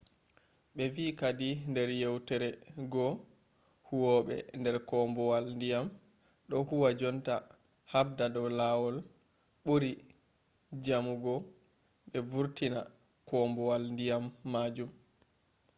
be vi kadi nder yewtore goo ‘’huwobe der koombuwal-diyam do huwa jonta habda do lawol buri jamugo be vurtina koombuwal-diyam majum